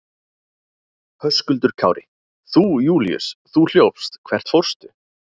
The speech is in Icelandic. Höskuldur Kári: Þú Júlíus, þú hljópst, hvert fórstu?